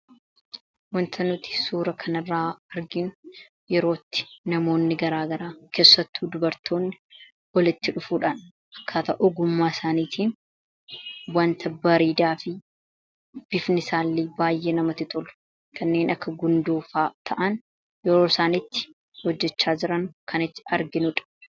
Wanti suuraa kanarraa arginu yeroo itti namoonni keessattuu dubartoonni walitti dhufuudhaan akkaataa ogummaa isaaniitiin wanta bareedaa fi bifni isaallee baay'ee namatti tolu kanneen akka gundoofaa ta'an yeroo isaan itti hojjechaa jiran kan arginu dha.